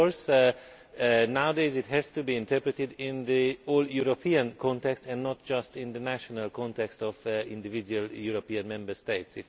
Of course, nowadays it has to be interpreted in the whole European context and not just in the national context of individual Member States.